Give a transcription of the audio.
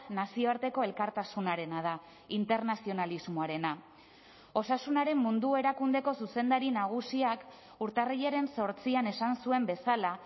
nazioarteko elkartasunarena da internazionalismoarena osasunaren mundu erakundeko zuzendari nagusiak urtarrilaren zortzian esan zuen bezala